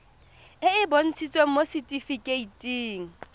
e e bontshitsweng mo setifikeiting